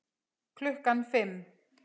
Klukkan fimm.